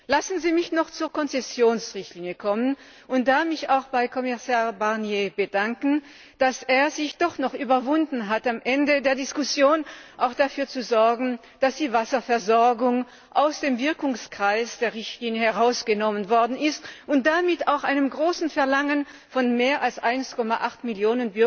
Lassen Sie mich noch zur Konzessionsrichtlinie kommen und mich da auch bei Kommissar Barnier dafür bedanken, dass er sich doch noch überwunden hat, am Ende der Diskussion dafür zu sorgen, dass die Wasserversorgung aus dem Wirkungskreis der Richtlinie herausgenommen worden ist, und damit auch einem großen Verlangen von mehr als 1,8 Mio.